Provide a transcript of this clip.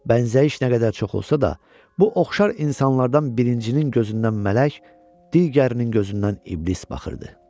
Bəzi zəif nə qədər çox olsa da, bu oxşar insanlardan birincinin gözündən mələk, digərinin gözündən iblis baxırdı.